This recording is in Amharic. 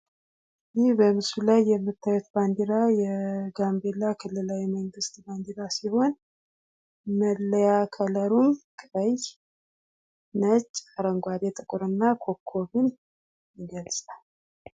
ይህ በምስሉ ላይ የምታዩት ባንዴራ የጋምቤላ ክልላዊ መንግስት ባንዴራ ሲሆን መለያ ከለሩም ቀይ ነጭ አረንጓዴ ጥቁር እና ኮከብም ሊኖር ይችላል።